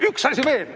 Üks asi veel.